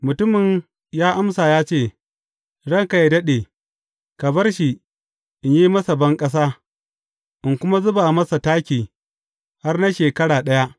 Mutumin ya amsa ya ce, Ranka yă daɗe, ka bar shi, in yi masa banƙasa, in kuma zuba masa taki har na shekara ɗaya.